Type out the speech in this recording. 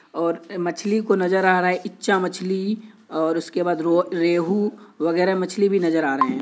और अ मछली को नजर आ रहा है इच्चा मछली और उसके बाद रो रेहू वगेरा मछली भी नजर आ रहे हैं।